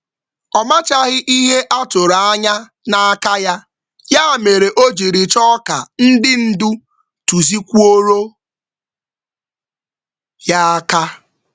Ọ naghị ejide ihe a tụrụ anya ya, n’ihi ya, ọ haziri oge nkọwa na onye ndu ya.